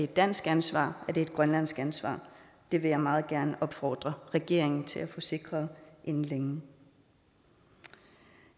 dansk ansvar er det et grønlandsk ansvar det vil jeg meget gerne opfordre regeringen til at få sikret inden længe